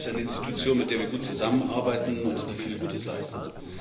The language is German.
Das ist eine Institution, mit der wir gut zusammenarbeiten und die viel Gutes leistet.